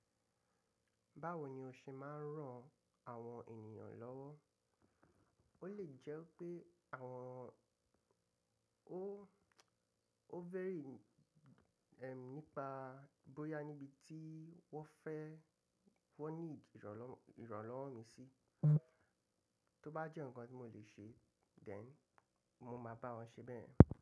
Báwo ni o ṣe máa ń ràn àwọn ènìyàn lọ́wọ́? Ó lè jẹ́ pé àwọn o ovary e, nípa bóyá níbi tí wọ́n fẹ́ wọ́n need ìrànlọ́wọ́ mi sí, tó bá jẹ́ ǹkan tí mo lè ṣe then mó máa bá wọn ṣe bẹ́ẹ̀.